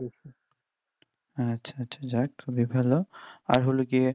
আচ্ছা আচ্ছা যাই হোক খুবই ভালো আর হলো গিয়ে